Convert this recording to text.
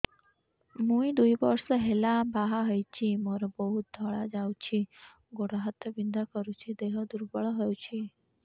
ମୁ ଦୁଇ ବର୍ଷ ହେଲା ବାହା ହେଇଛି ମୋର ବହୁତ ଧଳା ଯାଉଛି ଗୋଡ଼ ହାତ ବିନ୍ଧା କରୁଛି ଦେହ ଦୁର୍ବଳ ହଉଛି